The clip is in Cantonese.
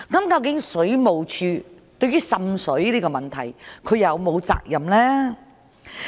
究竟水務署對於滲水這個問題有否責任呢？